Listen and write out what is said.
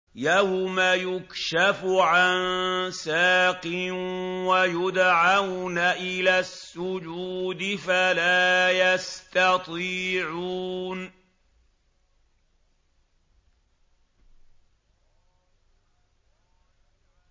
يَوْمَ يُكْشَفُ عَن سَاقٍ وَيُدْعَوْنَ إِلَى السُّجُودِ فَلَا يَسْتَطِيعُونَ